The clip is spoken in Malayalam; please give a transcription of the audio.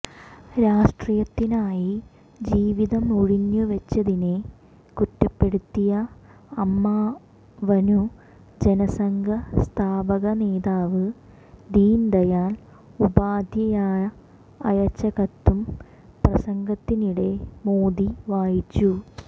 രാഷ്ട്രീയത്തിനായി ജീവിതമുഴിഞ്ഞുവച്ചതിനെ കുറ്റപ്പെടുത്തിയ അമ്മാവനു ജനസംഘ സ്ഥാപക നേതാവ് ദീൻ ദയാൽ ഉപാധ്യായ അയച്ച കത്തും പ്രസംഗത്തിനിടെ മോദി വായിച്ചു